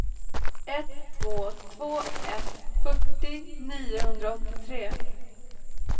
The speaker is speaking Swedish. ett två två ett fyrtio niohundraåttiotre